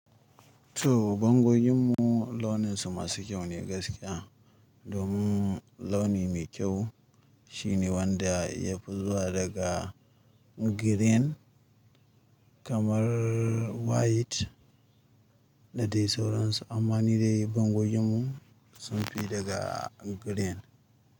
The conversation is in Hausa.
To bangojin mu launin su masu kyau ne gaskiya. Domin launi mai kyau shine wanda ya fi zuwa daga green kamar white da dai sauransu. Amma ni dai bangojin mu sun fi daga green.